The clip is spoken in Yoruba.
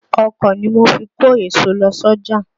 Ọ̀kọ̀ ni mo fi kó èso lọ sọ́jà.